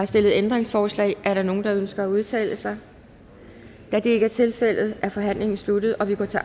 stillet ændringsforslag er der nogle der ønsker at udtale sig da det ikke er tilfældet er forhandlingen sluttet og vi går til